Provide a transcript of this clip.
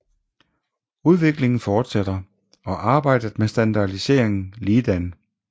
Udviklingen fortsætter og arbejdet med standardiseringen ligedan